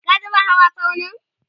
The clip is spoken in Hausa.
ka taɓa hawa tsaunin?